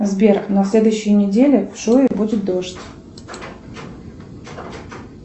сбер на следующей неделе в шуе будет дождь